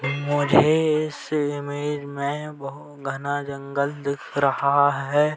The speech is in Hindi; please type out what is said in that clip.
मुझे इस इमेज में बहुत घना जंगल दिख रहा है।